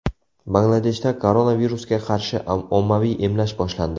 Bangladeshda koronavirusga qarshi ommaviy emlash boshlandi.